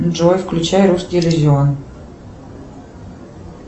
джой включай русский иллюзион